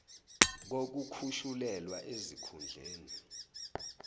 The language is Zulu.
kokukhushulelwa ezik hundleni